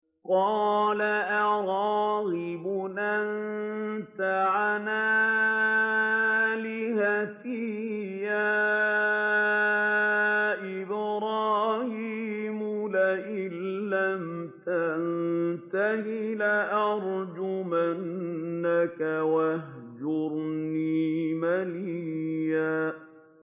قَالَ أَرَاغِبٌ أَنتَ عَنْ آلِهَتِي يَا إِبْرَاهِيمُ ۖ لَئِن لَّمْ تَنتَهِ لَأَرْجُمَنَّكَ ۖ وَاهْجُرْنِي مَلِيًّا